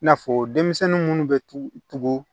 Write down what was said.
I n'a fɔ denmisɛnnin munnu bɛ tugu tugu